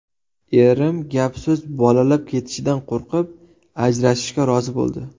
Erim gap-so‘z bolalab ketishidan qo‘rqib, ajrashishga rozi bo‘ldi.